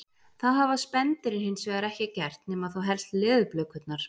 það hafa spendýrin hins vegar ekki gert nema þá helst leðurblökurnar